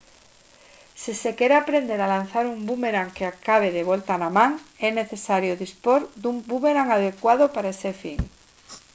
se se quere aprender a lanzar un búmerang que acabe de volta na man é necesario dispor dun búmerang adecuado para ese fin